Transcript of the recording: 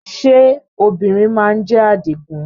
Ṣé obìnrin má ń jẹ́ Àdìgún?